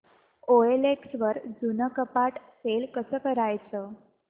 OLX वर जुनं कपाट सेल कसं करायचं